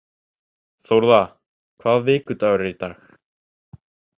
Þórða, hvaða vikudagur er í dag?